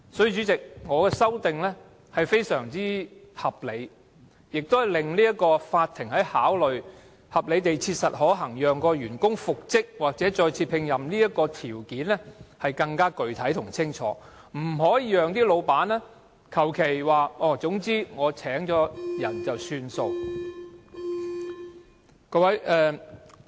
因此，主席，我的修正案非常合理，亦令法院考慮合理地切實可行讓員工復職或再次聘任的條件更具體及清楚，不會容許僱主推說已另聘員工便算。